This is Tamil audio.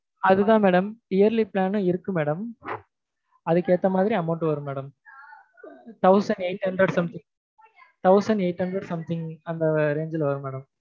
அதுதான் madam yearly plan ம் இருக்கு madam அதுக்கேத்த மாதிரி amount வரும் madam thousand eight hundred ல இருந்து thousand eithu hundred something அந்த range ல வரும் madam